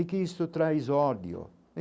E que isso traz ódio.